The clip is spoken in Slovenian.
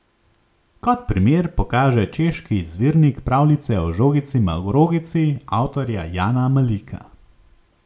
Kot primer pokaže češki izvirnik pravljice o žogici Marogici avtorja Jana Malika.